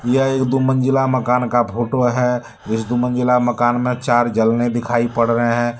यह एक दो मंजिला मकान का फोटो है। इस दो मंजिला मकान में चार झलने दिखाई पड़ रहे हैं।